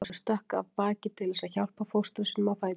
Ólafur stökk af baki til þess að hjálpa fóstra sínum á fætur.